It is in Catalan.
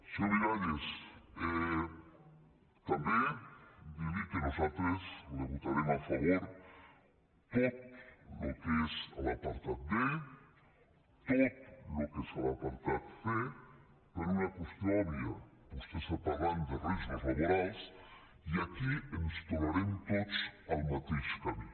senyor miralles també dir li que nosaltres li votarem a favor tot el que és l’apartat b tot el que és l’apartat c per una qüestió òbvia vostè està parlant de riscos laborals i aquí ens trobarem tots al mateix camí